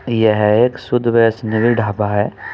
यह एक शुद्ध वैश्णवी ढाबा है।